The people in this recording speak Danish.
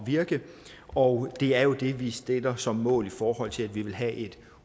virke og det er jo det vi sætter som mål i forhold til at vi vil have et